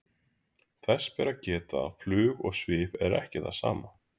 Þess ber að geta að flug og svif er ekki það sama.